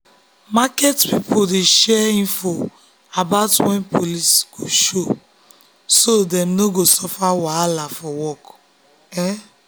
market people dey share info about when police go show so dem no go suffer wahala for work.